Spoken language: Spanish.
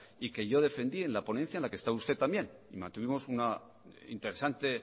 y que yo defendí en la ponencia en la que está usted también mantuvimos una interesante